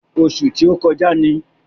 Ọṣù tí ó kọjá ni.